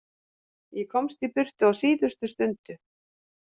Ég komst í burtu á síðustu stundu.